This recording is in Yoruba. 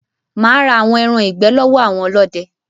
Mà á ra àwọn ẹran ìgbẹ́ lọ́wọ́ àwọn ọlọ́dẹ.